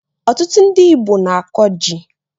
Ọtụtụ ndị Igbo na-akọ ji